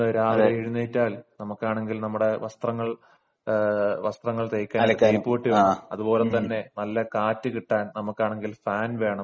ഇന്ന് രാവിലെ എഴുന്നേറ്റാൽ നമുക്കാണെങ്കിൽ നമ്മുടെ വസ്ത്രങ്ങൾ അലക്കാനും അതുപോലെതന്നെ നല്ല കാറ്റ് കിട്ടാൻ നമുക്കാണെങ്കിൽ ഫാൻ വേണം